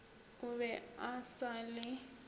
o be a sa le